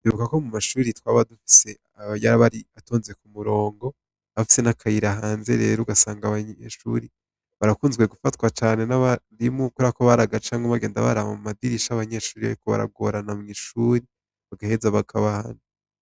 Ibuka ko mu mashuri twaba dufise aba yabari atonze ku murongo hafise n'akayiraahanze rero ugasanga abanyeshuri barakunzwe gufatwa cane n'abarimo ukorako baraga canke umbagenda barama mu madirisha abanyeshuri yyokubaragorana mw'ishuri bagaheza bakabanu.